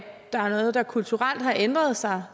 der er noget der kulturelt har ændret sig